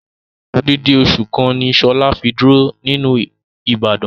Odidi osu kan ni Shola fi duro niluu Ibadan.